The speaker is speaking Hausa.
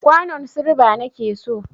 kwanon silba nake so.